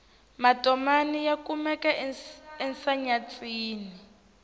matomani ya kumeka ensenyatsini